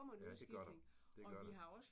Ja det gør der. Det gør der